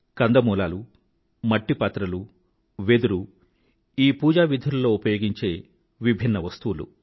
కందమూలాలు మట్టి పాత్రలు వెదురు మొదలైనవి ఈ పూజా విధులతో ముడిపడిన విభిన్న సామగ్రీలు